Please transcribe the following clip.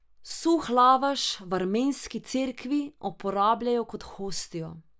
Suh lavaš v armenski cerkvi uporabljajo kot hostijo.